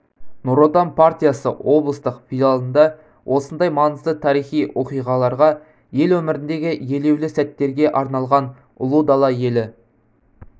нұротан партиясы облыстық филиалында осындай маңызды тарихи оқиғаларға ел өміріндегі елеулі сәттерге арналған ұлы дала елі